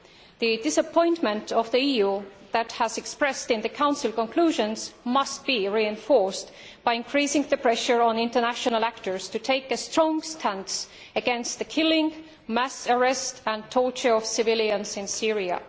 The disappointment of the EU expressed in the Council conclusions must be reinforced by increasing pressure on international actors to take a strong stance against the killing, mass arrests and torture of civilians in Syria.